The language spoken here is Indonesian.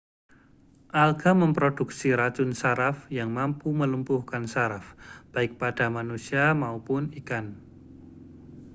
alga memproduksi racun saraf yang mampu melumpuhkan saraf baik pada manusia maupun ikan